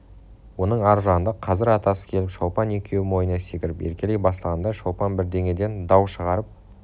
оның ар жағында қазір атасы келіп шолпан екеуі мойнына секіріп еркелей бастағанда шолпан бірдеңеден дау шығарып